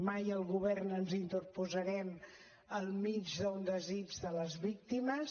mai el govern ens interposarem al mig d’un desig de les víctimes